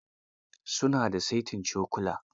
Su na da saitin cokula.